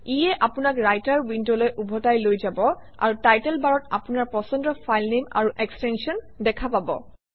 ইয়ে আপোনাক ৰাইটাৰ উইণ্ডলৈ ওভটাই লৈ যাব আৰু টাইটেল বাৰত আপোনাৰ পছন্দৰ ফাইলনেম আৰু এক্সটেনশ্যন দেখা পাব